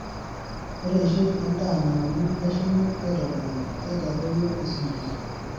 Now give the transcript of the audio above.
Ore eishoi endaa nauni neshumi aitobiraki keitadoyio esumash.